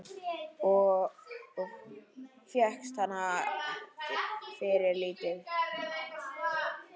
Og fékkst hana fyrir lítið!